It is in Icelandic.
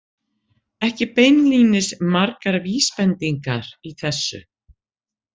Ekki beinlínis margar vísbendingar í þessu.